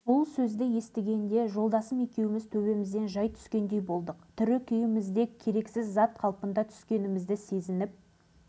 біз оған не деп жұбату сөз айтарымызды білмей қатты қиналдық біраз үнсіздіктен кейін сөзін қайта жалғады